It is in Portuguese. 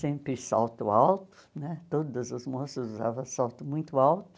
Sempre salto alto, né todos as moças usavam salto muito alto,